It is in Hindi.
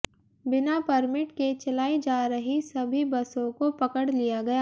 बिना परमिट के चलाई जा रही सभी बसों को पकड़ लिया गया